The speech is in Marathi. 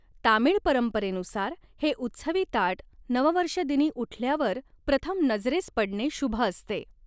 तामीळ परंपरेनुसार, हे उत्सवी ताट नववर्ष दिनी उठल्यावर प्रथम नजरेस पडणे शुभ असते.